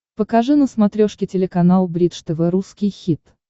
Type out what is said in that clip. покажи на смотрешке телеканал бридж тв русский хит